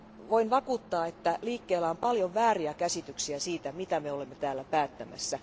Voin vakuuttaa, että liikkeellä on paljon vääriä käsityksiä siitä, mitä me olemme täällä päättämässä.